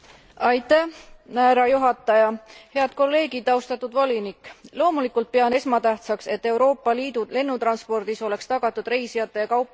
Loomulikult pean esmatähtsaks, et Euroopa Liidu lennutranspordis oleks tagatud reisijate ja kaupade võimalikult efektiivne transport, mis suurendab meie majandusvõimekust.